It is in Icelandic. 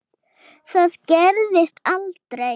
Það gerðist aldrei.